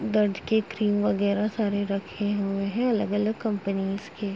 दर्द की क्रीम वगैरह सारे रखे हुए हैं अलग-अलग कंपनीस के।